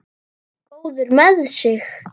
Góður með sig.